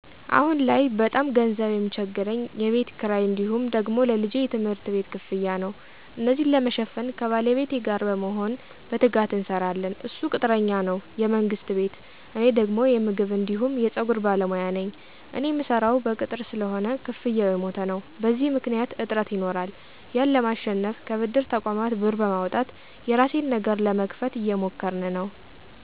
አሁን ላይ በጣም ገንዘብ ሚቸግረኝ የቤት ክራይ እንዲሁም ደግሞ ለልጄ የትምህርት ቤት ክፍያ ነው። እነዚን ለመሸፈን ከባለቤቴ ጋር በመሆን በትጋት እንሰራለን እሱ ቅጥረኛ ነው የመንግስት ቤት እኔ ደግሞ የምግብ አንዲሁም የፀጉር ባለሞያ ነኝ። እኔ ምሰራው በቅጥር ስለሆነ ክፍያው የሞተ ነው። በዚህ ምክኒያት እጥረት ይኖራል ያን ለማሸነፍ ከብድር ተቆማት ብር በማውጣት የራሴን ነገር ለመክፈት እየሞከርን ነው።